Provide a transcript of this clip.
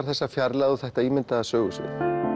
þessa fjarlægð og þetta ímyndaða sögusvið